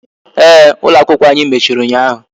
Ee, ụlọ akwụkwọ ànyị mechiri ụnyaahụ